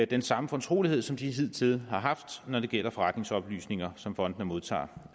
den samme fortrolighed som de hidtil har haft når det gælder forretningsoplysninger som fondene modtager